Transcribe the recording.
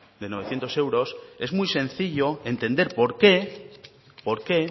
de novecientos euros es muy sencillo entender por qué por qué